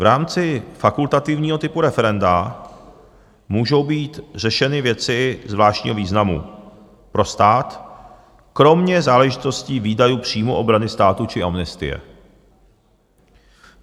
V rámci fakultativního typu referenda můžou být řešeny věci zvláštního významu pro stát kromě záležitostí výdajů, příjmů, obrany státu či amnestie.